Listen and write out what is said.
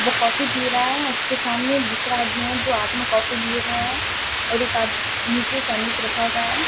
वो कॉफी पी रहा है उसके सामने दूसरा आदमी है जो हाथ में काफी लिए हुए है और एक आदमी नीचे सैंडविच रखा हुआ है।